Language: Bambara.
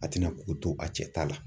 A tɛna k'u to a cɛ ta la.